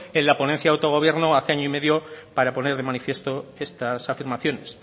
en la ponencia autogobierno hace año y medio para poner de manifiesto estas afirmaciones